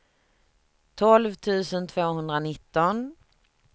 tolv tusen tvåhundranitton